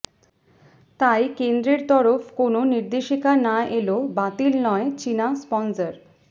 তাই কেন্দ্রের তরফ কোনও নির্দেশিকা না এল বাতিল নয় চিনা স্পনসর